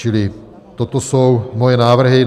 Čili toto jsou moje návrhy.